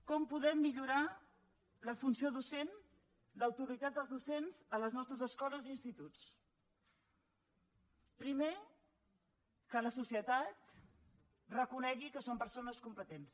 com podem millorar la funció docent l’autoritat dels docents a les nostres escoles i instituts primer que la societat reconegui que són persones competents